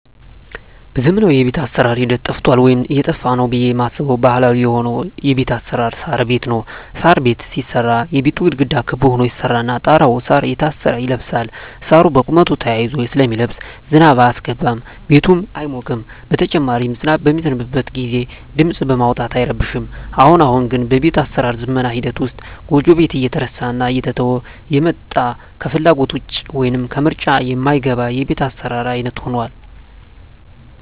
በዘመናዊ የቤት አሰራር ሂደት ጠፍቷል ወይም እየጠፋ ነው ብየ ማስበው ባህላዊ የሆነው የቤት አሰራር የሳር ቤት ነው። የሳር ቤት ሲሰራ የቤቱ ግድግዳ ክብ ሁኖ ይሰራና ጣራው እሳር እየታሰረ ይለብሳል እሳሩ በቁመቱ ተያይዞ ስለሚለብስ ዝናብ አያስገባም ቤቱም አይሞቅም በተጨማሪም ዝናብ በሚዘንብበት ግዜ ድምጽ በማውጣት አይረብሽም። አሁን አሁን ግን በቤት አሰራር ዝመና ሂደት ውስጥ ጎጆ ቤት እየተረሳና እየተተወ የመጣ ከፍላጎት ውጭ ወይም ከምርጫ ማይገባ የቤት አሰራር አይነት ሁኗል።